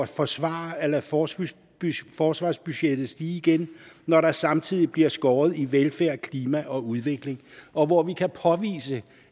forsvare at lade forsvarsbudgettet forsvarsbudgettet stige igen når der samtidig bliver skåret i velfærd klima og udvikling og hvor vi kan påvise